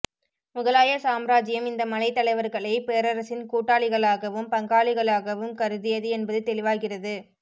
முகலாய சாம்ராச்சியம் இந்த மலைத் தலைவர்களை பேரரசின் கூட்டாளிகளாகவும் பங்காளிகளாகவும் கருதியது என்பது தெளிவாகிறது